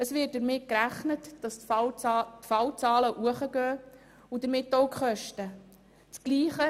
Es wird damit gerechnet, dass die Fallzahlen steigen werden und damit auch die Kosten.